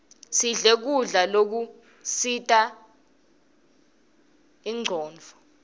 sidle kudla lokusita inronduo